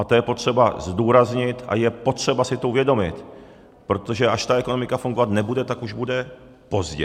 A to je potřeba zdůraznit a je potřeba si to uvědomit, protože až ta ekonomika fungovat nebude, tak už bude pozdě.